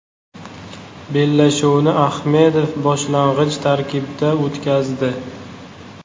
Bellashuvni Ahmedov boshlang‘ich tarkibda o‘tkazdi.